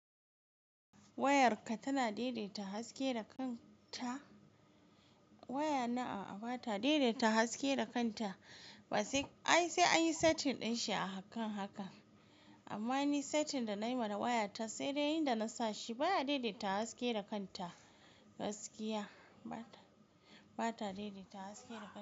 Wayarka tana daidaita haske da kanta. Wayana a'a, ba ta daidaita haske da kanta ba sai, ai sai an yi setting din shi akan haka. Amma ni setting da nayi ma wayata sai dai inda na sa shi baya daidaita haske da kanta. Gaskiya ba ta, ba ta daidaita haske da kanta.